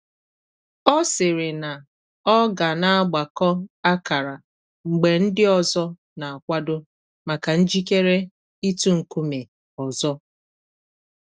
Ọ sịrị na ọ ga na agbakọ akara mgbe ndị ọzọ na akwado maka njikere itu nkume ọzọ